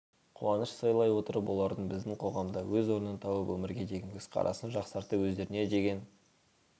қуаныш сыйлай отырып олардың біздің қоғамда өз орнын тауып өмірге деген көзқарасын жақсартып өздеріне деген